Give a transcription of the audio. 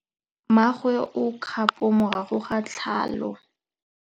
Mmagwe o kgapô morago ga tlhalô.